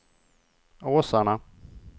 Åsarna